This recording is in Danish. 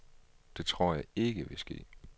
Det tror jeg ikke vil ske.